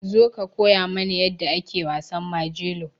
Zo ka koya mana yadda ake wasan Majelo.